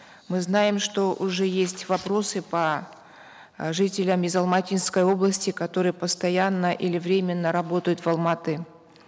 мы знаем что уже есть вопросы по э жителям из алматинской области которые постоянно или временно работают в алматы